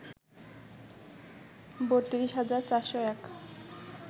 ৩২ হাজার ৪০১